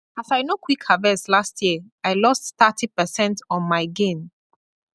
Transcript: as i no quick harvest last year i lost thirty percent on my gain